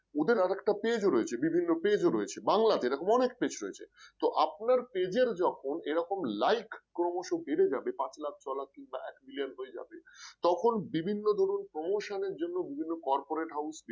ওদের আর একটা page রয়েছে বিভিন্ন page ও রয়েছে বাংলাতে এরকম অনেক page রয়েছে তো আপনার page র যখন এরকম like ক্রমশ বেড়ে যাবে পাঁচ লাখ ছয় লাখ কিংবা এক মিলিয়ন হয়ে যাবে তখন বিভিন্ন ধরণ promotion র জন্য বিভিন্ন corporate house